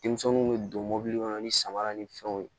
Denmisɛnninw bɛ don mɔbili kɔnɔ ni samara ni fɛnw ye